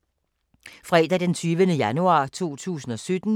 Fredag d. 20. januar 2017